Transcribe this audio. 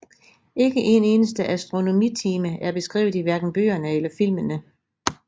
Ikke en eneste astronomitime er beskrevet i hverken bøgerne eller filmene